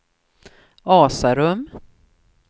Asarum